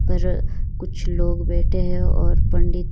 पर कुछ लोग बैठे हैं और पंडित--